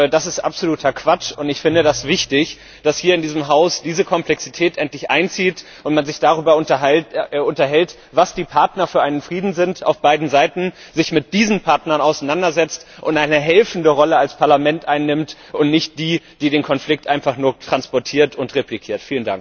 Das ist absoluter Quatsch. Ich finde es wichtig, dass hier in diesem Haus diese Komplexität endlich einzieht und man sich darüber unterhält, was die Partner für einen Frieden sind auf beiden Seiten, sich mit diesen Partnern auseinandersetzt und eine helfende Rolle als Parlament einnimmt und nicht die, die den Konflikt einfach nur transportiert und reflektiert.